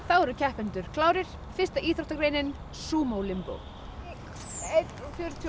eru keppendur klárir fyrsta íþróttagreinin Sumo limbó eitt komma fjörutíu og